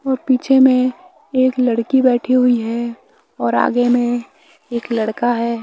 और पीछे में एक लड़की बैठी हुई है और आगे में एक लड़का है।